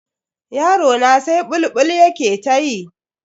Yarona sai bulbul yake ta yi.